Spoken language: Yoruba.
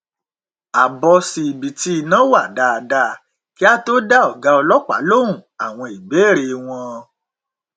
a bọ síbi tí iná wà dáadáa kí á tó dá ọgá ọlọpàá lóhùn àwọn ìbéèrè wọn